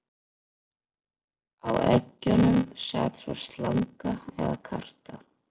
Á eggjunum sat svo slanga eða karta.